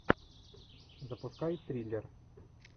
запускай триллер